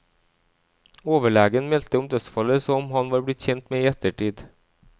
Overlegen meldte om dødsfallet som han var blitt kjent med i ettertid.